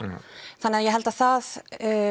þannig að ég held að það